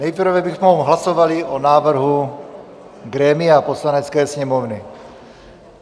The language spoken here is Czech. Nejprve bychom hlasovali o návrhu grémia Poslanecké sněmovny.